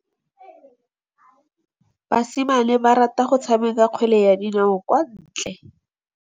Basimane ba rata go tshameka kgwele ya dinaô kwa ntle.